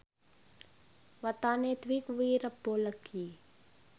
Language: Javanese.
wetone Dwi kuwi Rebo Legi